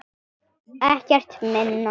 Ekkert minna.